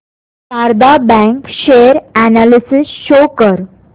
Sharda bank share analysis show कर